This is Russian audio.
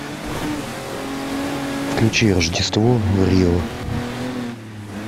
включи рождество в рио